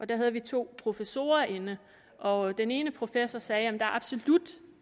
der havde vi to professorer inde og den ene professor sagde at der absolut